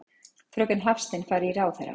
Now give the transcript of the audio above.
Fröken Hafstein fari í ráðherrann.